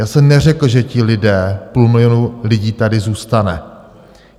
Já jsem neřekl, že ti lidé - půl milionu lidí - tady zůstane.